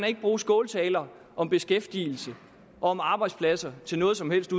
ikke bruge skåltaler om beskæftigelse og arbejdspladser til noget som helst